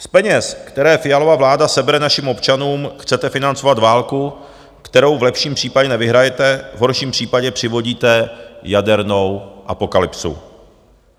Z peněz, které Fialova vláda sebere našim občanům, chcete financovat válku, kterou v lepším případě nevyhrajete, v horším případě přivodíte jadernou apokalypsu.